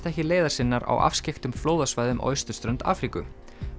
ekki leiðar sinnar á afskekktum flóðasvæðum á austurströnd Afríku